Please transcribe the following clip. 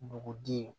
Dugudenw